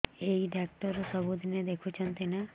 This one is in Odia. ଏଇ ଡ଼ାକ୍ତର ସବୁଦିନେ ଦେଖୁଛନ୍ତି ନା